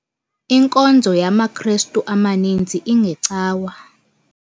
Inkonzo yamaKrestu amaninzi ingeCawa.